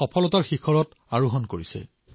সফলতাৰ নতুন শিখৰ স্পৰ্শ কৰিছে